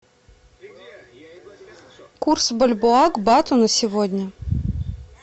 курс бальбоа к бату на сегодня